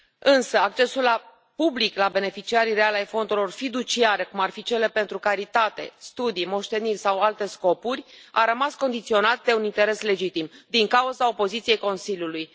Însă, accesul public la beneficiarii reali ai fondurilor fiduciare, cum ar fi cele pentru caritate, studii, moșteniri sau alte scopuri, a rămas condiționat de un interes legitim, din cauza opoziției Consiliului.